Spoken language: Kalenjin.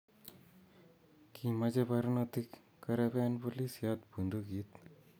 Kimache barnotik koreben booolisyot buntukiit